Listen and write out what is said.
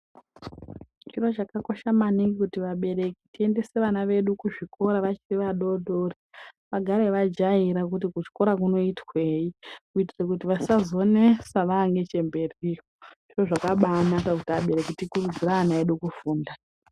Zviro zvakakosha maningi kuti vabereki tiendese vana vedu kuchikoro vachiri vadodori vagare vajaira kuti kuchikora kunoitwei kuitire kuti vasazonetsa vamberiyo, zviro zvakabanaka kuti vabereki tikurudzire vana vedu kufunda.